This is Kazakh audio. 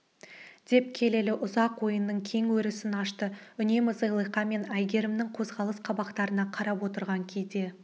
деп келелі ұзақ ойының кең өрісін ашты үнемі зылиқа мен әйгерімнің қозғалыс қабақтарына қарап отырған кейде